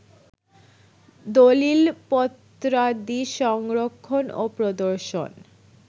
দলিলপত্রাদি সংরক্ষণ ও প্রদর্শন